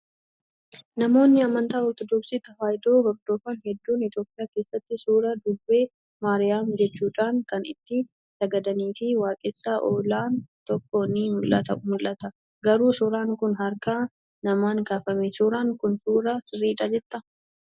Namoonni amantaa ortodoksii tawaahidoo hordofan hedduun Itoophiyaa keessatti suuraa durbee Maariyaam jechuudhaan kan itti sagadanii fi waaqessaa oolan tokko ni mul'ata. Garuu suuraan kun harka namaan kaafame. Suuraan kun suuraa sirriidha jettaa?